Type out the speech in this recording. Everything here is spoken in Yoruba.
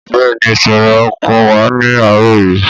Bẹ́ẹ̀ni, ìṣòro ọkọ̀ wà ní àárọ̀ yìí